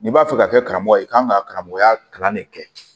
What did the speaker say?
N'i b'a fɛ ka kɛ karamɔgɔ ye i kan ka karamɔgɔya kalan de kɛ